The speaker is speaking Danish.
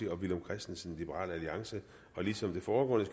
og villum christensen ligesom det foregående